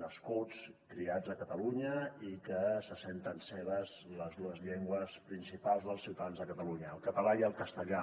nascuts criats a catalunya i que se senten seves les dues llengües principals dels ciutadans de catalunya el català i el castellà